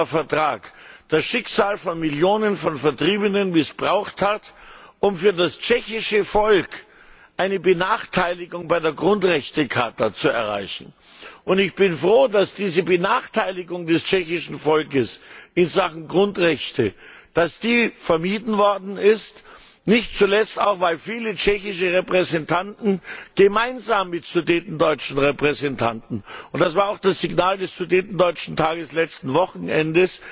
Vertrag von Lissabon das Schicksal von Millionen von Vertriebenen missbraucht hat, um für das tschechische Volk eine Benachteiligung bei der Grundrechtecharta zu erreichen. Ich bin froh, dass diese Benachteiligung des tschechischen Volkes in Sachen Grundrechte vermieden worden ist, nicht zuletzt auch, weil viele tschechische Repräsentanten gemeinsam mit sudetendeutschen Repräsentanten und das war auch das Signal des Sudetendeutschen Tages vom letzten Wochenende